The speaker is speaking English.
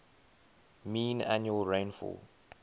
mean annual rainfall